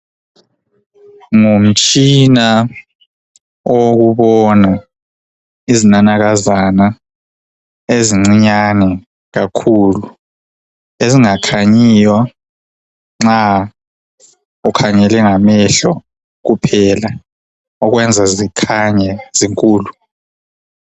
Ngumtshina owokubona izinanakazana ezincinyane kakhulu ezingakhanyiyo nxa ukhangele ngamehlo kuphela okwenza zikhanye zinkulu .